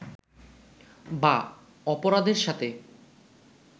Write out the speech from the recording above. বা অপরাধের সাথে